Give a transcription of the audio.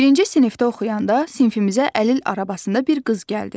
Birinci sinifdə oxuyanda sinifimizə əlil arabasında bir qız gəldi.